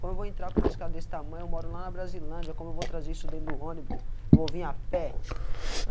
Como eu vou entrar com uma escada desse tamanho, eu moro lá na Brasilândia, como eu vou trazer isso dentro do ônibus, eu vou vir à pé.